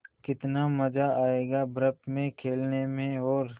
कितना मज़ा आयेगा बर्फ़ में खेलने में और